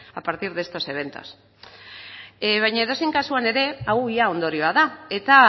a partir de estos eventos baina edozein kasuan ere hau ondorioa da eta